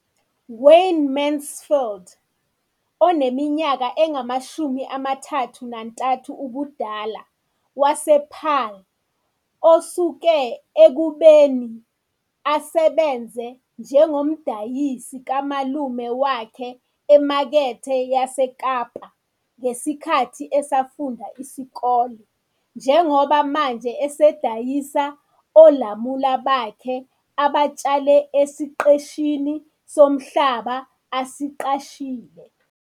Wayne Mansfield, oneminyaka engama-33 ubudala, wasePaarl, osuke ekubeni asebenze njengomdayisi kamalume wakhe eMakethe yaseKapa ngesikhathi esafunda isikole njengoba manje esedayisa olamula bakhe abatshale esiqeshini somhlaba asiqashile.